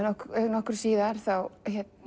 nokkru síðar þá